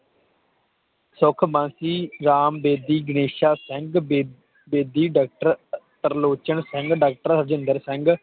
ਸੁਖਬਾਕੀ ਸ਼੍ਰਾਮਬੇਦੀ ਗਾਣੇਸ਼ਾ ਸਿੰਘ ਬੇ Bedi doctor Sarlochan Singh doctor Harjinder Singh